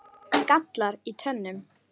gallar í tönnum